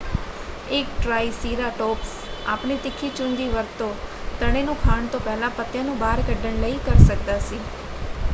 ਇੱਕ ਟ੍ਰਾਈਸੀਰਾਟੋਪਜ਼ ਆਪਣੀ ਤਿੱਖੀ ਚੁੰਝ ਦੀ ਵਰਤੋਂ ਤਣੇ ਨੂੰ ਖਾਣ ਤੋਂ ਪਹਿਲਾਂ ਪੱਤਿਆਂ ਨੂੰ ਬਾਹਰ ਕੱਢਣ ਲਈ ਕਰ ਸਕਦਾ ਸੀ।